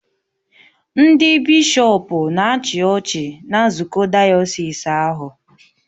Ndị bishọpụ nọ na-achị ọchị na nzukọ dayọsis ahụ